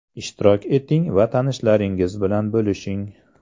Ishtirok eting va tanishlaringiz bilan bo‘lishing!